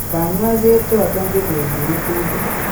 kanyaiset choton chebose ngetutik